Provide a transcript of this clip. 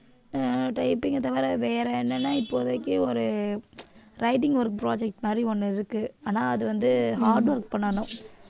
ஆஹ் typing அ தவிர வேற என்னன்னா இப்போதைக்கு ஒரு writing ஒரு project மாதிரி ஒண்ணு இருக்கு ஆனால் அது வந்து hard work பண்ணணும்